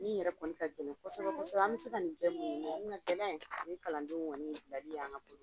Min yɛrɛ kɔni a gɛlɛ kosɛbɛ kosɛbɛ, an bɛ se ka nin bɛɛ kun, nka min yɛrɛ kɔni ka gɛlɛ, o ye kalandenw bilali ye an ka bolo kan.